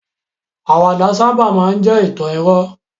Àwàdà máa n sábà jẹ́ ìtàn irọ́